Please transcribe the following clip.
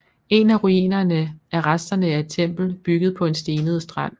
En af ruinerne er resterne af et tempel bygget på en stenet strand